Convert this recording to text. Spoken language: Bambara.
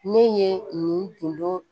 Ne ye nin tundo